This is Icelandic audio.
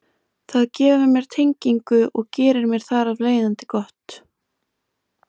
Það gefur mér tengingu og gerir mér þar af leiðandi gott.